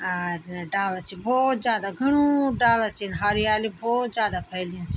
अर डाला छिन भोत ज्यादा घणू डाला छीन हरियाली भोत ज्यादा फैली च।